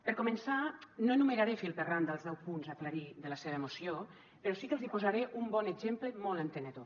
per començar no enumeraré fil per randa els deu punts a aclarir de la seva moció però sí que els hi posaré un bon exemple molt entenedor